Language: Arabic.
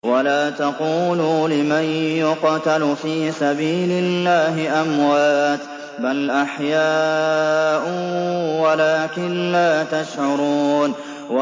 وَلَا تَقُولُوا لِمَن يُقْتَلُ فِي سَبِيلِ اللَّهِ أَمْوَاتٌ ۚ بَلْ أَحْيَاءٌ وَلَٰكِن لَّا تَشْعُرُونَ